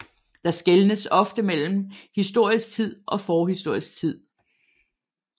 Der skelnes ofte mellem historisk tid og forhistorisk tid